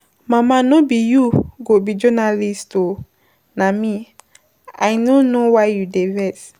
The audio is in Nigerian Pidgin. Mama no be you go be journalist oo na me, I no know why you dey vex.